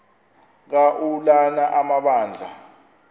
ka ulana amabandla